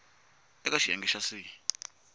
we eka xiyenge xa c